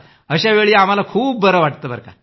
अशावेळी आम्हाला खूप बरं वाटतं